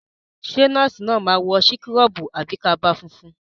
Ṣé nọ́ọ̀sì náà máa wọ síkọ́rọ̀bù àbí kaba funfun?